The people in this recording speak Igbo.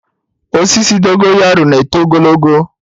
Osisi Dogo yaro na-eto ogologo.